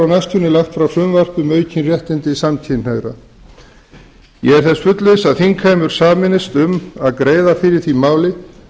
næstunni lagt fram frumvarp um aukin réttindi samkynhneigðra ég er þess fullviss að þingheimur sameinist um að greiða fyrir því máli